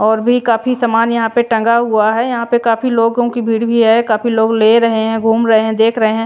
और भी काफी सामान यहां पे टंगा हुआ है यहां पे काफी लोगों की भीड़ भी है काफी लोग ले रहे हैं घूम रहे हैं देख रहे हैं।